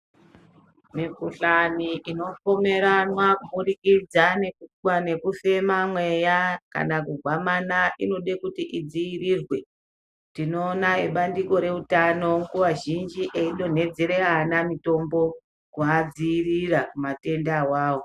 Mikhuhlane inopomeranwa kuburikidza nokufema mweya kana kugwamana inode kuti idzivirirwe. Tinoona vebandiko reutano nguva zhinji veidonhodzera vana mitombo kuvadziyirira kumatenda iwawa.